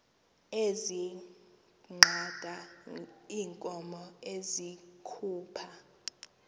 ezinqanda iinkomo ezikhupha